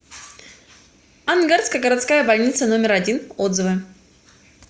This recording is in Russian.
ангарская городская больница номер один отзывы